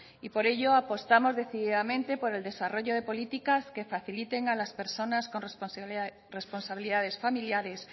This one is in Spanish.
y por ello apostamos decididamente por el desarrollo de políticas que faciliten a las personas con responsabilidades familiares